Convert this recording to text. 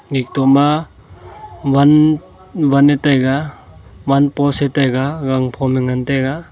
ekto ma van van ne taiga van post ee taiga gangphom ee ngan taiga.